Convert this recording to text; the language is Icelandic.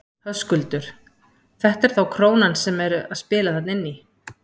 Höskuldur: Þetta er þá krónan sem er að spila þarna inn í?